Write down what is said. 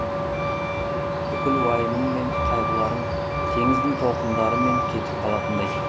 бүкіл уайымың мен қайғыларың теңіздің толқындармен кетіп қалатындай